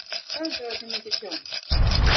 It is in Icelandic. Fréttamaður: Hvað heldurðu að það sé mikið tjón?